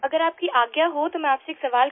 अगर आपकी आज्ञा हो तो मैं आपसे एक सवाल